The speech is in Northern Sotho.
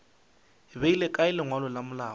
beile kae lengwalo la malao